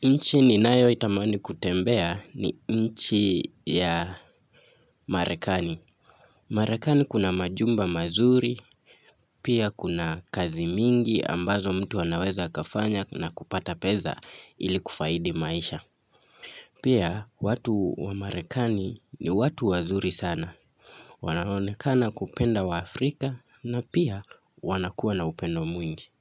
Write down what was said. Nchi ninayoitamani kutembea ni nchi ya marekani. Marekani kuna majumba mazuri, pia kuna kazi mingi ambazo mtu anaweza akafanya na kupata peza ili kufaidi maisha. Pia watu wa marekani ni watu wazuri sana. Wanaonekana kupenda waafrika na pia wanakuwa na upendo mwingi.